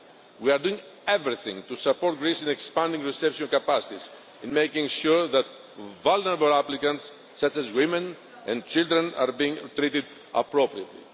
We are doing everything to support Greece in expanding reception capacities and in making sure that vulnerable applicants, such as women and children, are being treated appropriately.